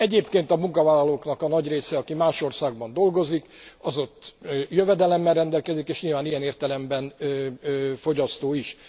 Egyébként a munkavállalóknak a nagy része, aki más országban dolgozik, az ott jövedelemmel rendelkezik és nyilván ilyen értelemben fogyasztó is.